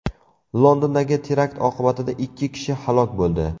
Londondagi terakt oqibatida ikki kishi halok bo‘ldi.